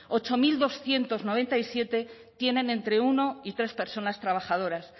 ocho mil doscientos noventa y siete tienen entre uno y tres personas trabajadoras